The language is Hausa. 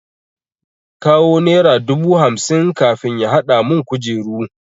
Yace in kawo nera dubu hamsin kafin ya hadamun kujeru.